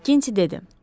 Makkinti dedi.